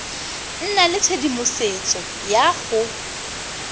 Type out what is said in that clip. nna le tshedimosetso ya go